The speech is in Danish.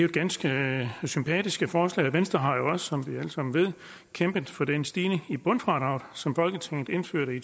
et ganske sympatisk forslag venstre har jo også som vi alle sammen ved kæmpet for den stigning i bundfradraget som folketinget indførte i